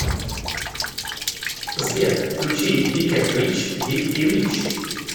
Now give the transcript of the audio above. сбер включи биг энд рич биг и рич